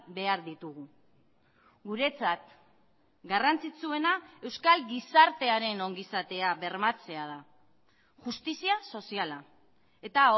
behar ditugu guretzat garrantzitsuena euskal gizartearen ongizatea bermatzea da justizia soziala eta